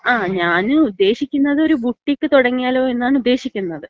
ങാ, മ്മ്. ഞാന് ഉദ്ദേശിക്കുന്നത് ഒരു ബുട്ടീഖ് തുടങ്ങിയാലോ എന്നാണ് ഉദ്ദേശിക്കുന്നത്.